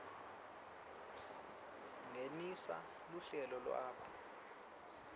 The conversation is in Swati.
ngenisa luhlelo lwakho